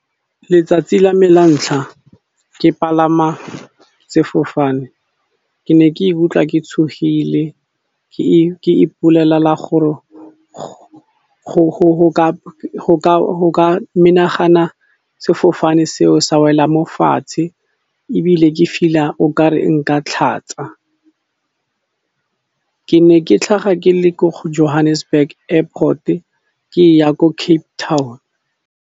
Letsatsi la me la ntlha ke palama sefofane ke ne ke ikutlwa ke tshogile ke ke ipolelela gore go ka menagana sefofane seo sa wela mo fatshe, ebile ke feel-a okare nka tlhatsa. Ke ne ke tlhaga ke le ko Johannesburg airport ke ya ko Cape Town.